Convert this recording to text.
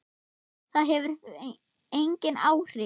Það hefur engin áhrif.